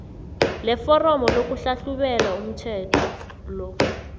leforomo lokuhlahlubela umthelo